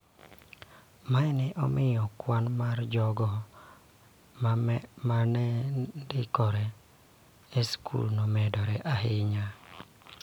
Mae ne omiyo kwan mar jogo ma ne ndikore e skul omedore ahinya.